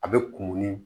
A bɛ kurukuru